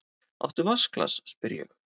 Áttu vatnsglas, spyr ég.